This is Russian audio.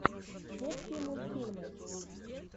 детские мультьфильмы